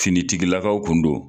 Finitigilakaw kun don